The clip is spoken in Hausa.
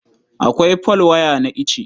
Akwai folwaya na ice.